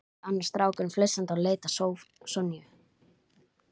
sagði annar strákurinn flissandi og leit á Sonju.